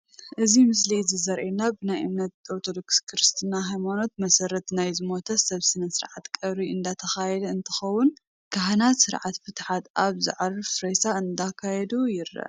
ኣብዚ ምስሊ እዚ ዘሪኤና ብናይ እምነት ኦርቶዶክስ ክርስትና ሃይማኖት መሰረት ናይ ዝሞተ ሰብ ስነ-ስርዓት ቀብሪ እንዳተኻየደ እንትኸውን ካህናት ስርዓተ ፍትሓት ኣብቲ ዘዕረፈ ሬሳ እንዳካየዱ ይርአ፡፡